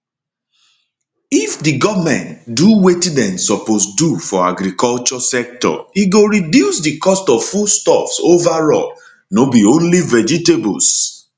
if di goment do wetin dem suppose do for agriculture sector e go reduce di cost of foodstuffs overall no be only vegetables